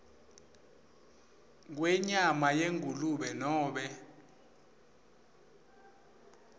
kwenyama yengulube nobe